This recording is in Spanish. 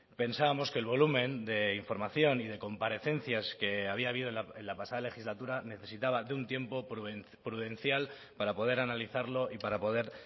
pensábamos que el volumen de información y de comparecencias que había habido en la pasada legislatura necesitaba de un tiempo prudencial para poder analizarlo y para poder